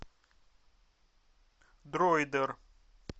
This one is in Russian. дроидер